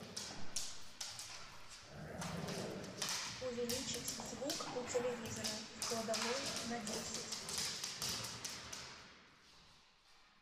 увеличить звук у телевизора в кладовой на десять